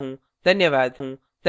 धन्यवाद